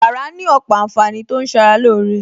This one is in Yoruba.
Bàrà ní òpò ànfàní tó ń ṣara lóore